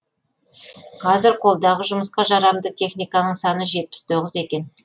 қазір қолдағы жұмысқа жарамды техниканың саны жетпіс тоғыз екен